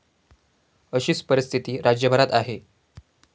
अशीच परिस्थिती राज्यभरात आहे.